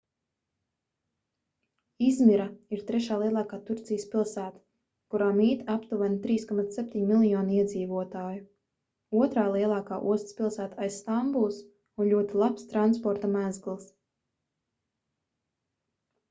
izmira ir trešā lielākā turcijas pilsēta kurā mīt aptuveni 3,7 miljoni iedzīvotāju otrā lielākā ostas pilsēta aiz stambulas un ļoti labs transporta mezgls